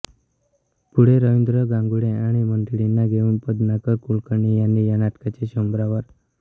पुढे रवींद्र घांगुर्डे आणि मंडळींना घेऊन पद्माकर कुलकर्णी यांनी या नाटकाचे शंभरावर